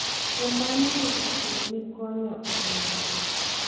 Kuom mano wito kido ni konyo ahinya.